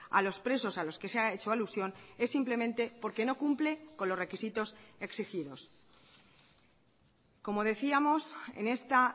a los presos a los que se ha hecho alusión es simplemente porque no cumple con los requisitos exigidos como decíamos en esta